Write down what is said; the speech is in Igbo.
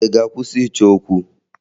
Ị ga-akwụsị ịchọ okwu?